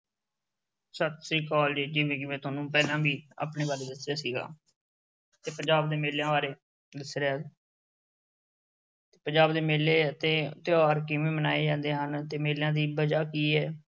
ਸਤਿ ਸ੍ਰੀ ਅਕਾਲ ਜੀ। ਜਿਵੇਂ ਕਿ ਮੈਂ ਤੁਹਾਨੂੰ ਪਹਿਲਾਂ ਵੀ ਆਪਣੇ ਬਾਰੇ ਦੱਸਿਆ ਸੀਗਾ। ਤੇ ਪੰਜਾਬ ਦੇ ਮੇਲਿਆਂ ਬਾਰੇ ਦੱਸ ਰਿਹਾਂ। ਪੰਜਾਬ ਦੇ ਮੇਲੇ ਅਤੇ ਤਿਉਹਾਰ ਕਿਵੇਂ ਮਨਾਏ ਜਾਂਦੇ ਹਨ।